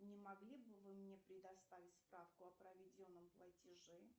не могли бы вы мне предоставить справку о проведенном платеже